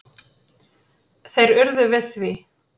Þeir urðu við því.